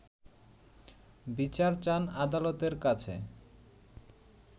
বিচার চান আদালতের কাছে